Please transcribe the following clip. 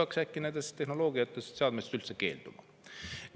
Või me peaksime äkki Hiina tehnoloogiast ja seadmetest üldse keelduma?